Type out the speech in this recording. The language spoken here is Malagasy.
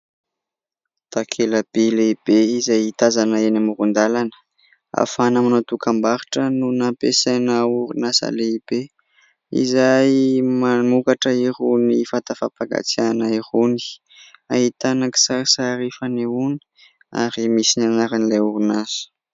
Takelaby lehibe, izay tazana eny amorondàlana ; afahana manao dokambarotra, no nampiasaina orinasa lehibe, izay, mamokatra irony vata fampangatsiahana irony. Ahitana kisarisary fanehoana ; ary misy ny anaran'ilay orinasa.